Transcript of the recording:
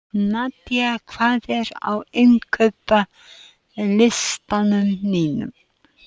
Nadía, hvað er á innkaupalistanum mínum?